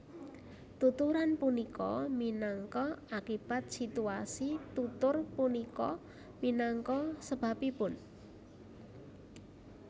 Tuturan punika minangka akibat situasi tutur punika minangka sebabipun